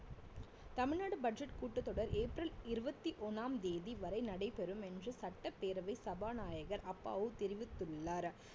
Tamil Nadu budget கூட்டத் தொடர் April இருவத்தி ஒண்ணாம் தேதி வரை நடைபெறும் என்று சட்டப்பேரவை சபாநாயகர் அப்பாவு தெரிவித்துள்ளார்